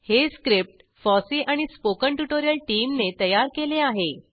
हे script FOSSEE and spoken tutorial टीमने तयार केले आहे